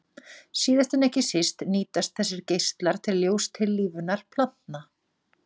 Síðast en ekki síst nýtast þessir geislar til ljóstillífunar plantna.